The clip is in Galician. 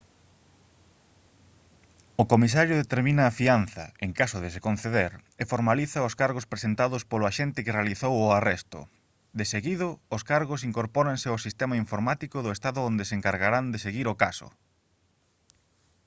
o comisario determina a fianza en caso de se conceder e formaliza os cargos presentados polo axente que realizou o arresto deseguido os cargos incorpóranse ao sistema informático do estado onde se encargarán de seguir o caso